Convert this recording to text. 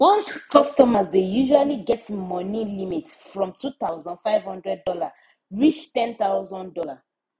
bank customers dey usually get daily money limit from two thousand five hundred dollar reach ten thousand dollar